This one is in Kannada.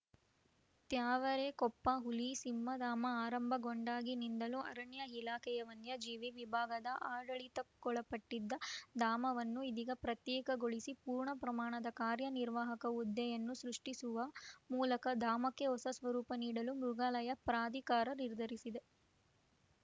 ತ್ಯಾವರೆಕೊಪ್ಪ ಹುಲಿಸಿಂಹಧಾಮ ಆರಂಭಗೊಂಡಾಗಿನಿಂದಲೂ ಅರಣ್ಯ ಇಲಾಖೆಯ ವನ್ಯಜೀವಿ ವಿಭಾಗದ ಆಡಳಿತಕ್ಕೊಳಪಟ್ಟಿದ್ದ ಧಾಮವನ್ನು ಇದೀಗ ಪ್ರತ್ಯೇಕಗೊಳಿಸಿ ಪೂರ್ಣ ಪ್ರಮಾಣದ ಕಾರ್ಯ ನಿರ್ವಾಹಕ ಹುದ್ದೆಯನ್ನು ಸೃಷ್ಟಿಸುವ ಮೂಲಕ ಧಾಮಕ್ಕೆ ಹೊಸ ಸ್ವರೂಪ ನೀಡಲು ಮೃಗಾಲಯ ಪ್ರಾಧಿಕಾರ ನಿರ್ಧರಿಸಿದೆ